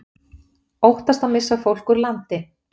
Óttast að missa fólk úr landi